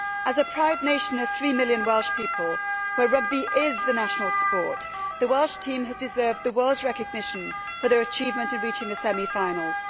As a proud nation of three million Welsh people, where rugby is the national sport, the Welsh team has deserved the world's recognition for their achievement in reaching the semi finals.